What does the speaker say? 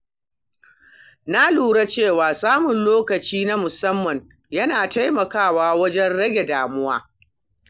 Na lura cewa samun lokaci na musamman yana taimakawa wajen rage damuwa.